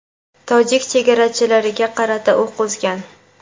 tojik chegarachilariga qarata o‘q uzgan.